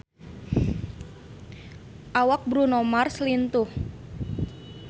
Awak Bruno Mars lintuh